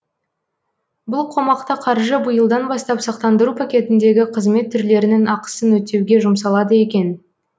бұл қомақты қаржы биылдан бастап сақтандыру пакетіндегі қызмет түрлерінің ақысын өтеуге жұмсалады екен